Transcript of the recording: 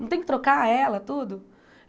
Não tem que trocar ela, tudo?